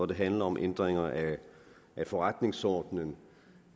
det handler om ændringer af forretningsordenen